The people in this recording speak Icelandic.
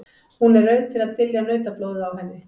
Hún er rauð til að dylja nautablóðið á henni.